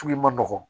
Sugu ma nɔgɔn